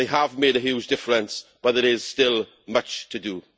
They have made a huge difference but there is still much to do.